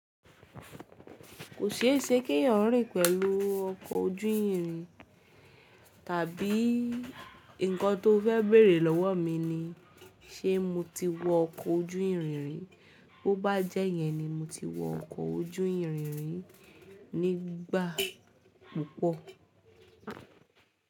Kò ṣe é se kẹ́yan rìn pẹ̀lú ọkọ̀ ojú ìrìn tàbí nǹkan tó fẹ́ bèrè lọ́wọ́ mi ni: Ṣé mo ti wọ ọkọ̀ ojú ìrìn rìn? Bo bá jẹ́ yẹn ni mo ti wọ ọkọ̀ ojú ìrìn rìn nígbà púpọ̀.